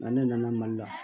Nka ne nana mali la